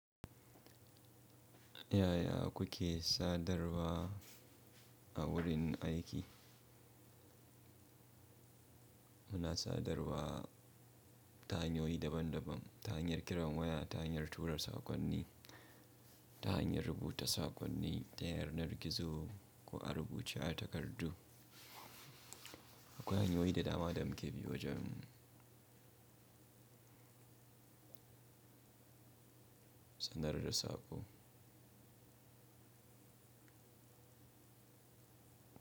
Yaya kuke sadarwa a wurin aiki? Muna sadarwa ta hanyoyi daban daban, ta hanyar kiran waya, ta hanyar turar sakonni, ta hanyar rubuta sakonni, ta yanar gizo ko a rubuce a takardu. Akwai hanyoyi da dama da muke bi wajen sadar da saƙo.